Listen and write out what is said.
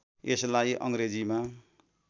यसलाई अङग्रेजीमा